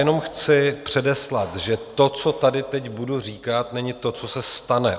Jenom chci předeslat, že to, co tady teď budu říkat, není to, co se stane.